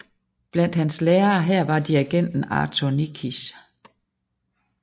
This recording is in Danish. Blandt hans lærere her var dirigenten Arthur Nikisch